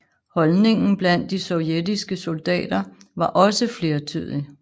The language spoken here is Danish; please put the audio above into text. Holdningen blandt de sovjetiske soldater var også flertydig